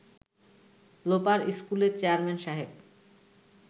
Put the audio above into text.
লোপার স্কুলের চেয়ারম্যান সাহেব